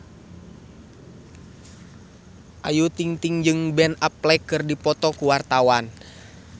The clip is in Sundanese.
Ayu Ting-ting jeung Ben Affleck keur dipoto ku wartawan